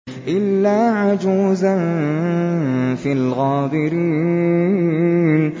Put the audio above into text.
إِلَّا عَجُوزًا فِي الْغَابِرِينَ